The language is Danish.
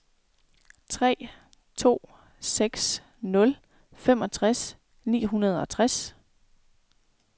tre to seks nul femogtres ni hundrede og tres